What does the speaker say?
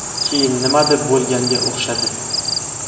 Keyin nimadir bo‘lganga o‘xshadi.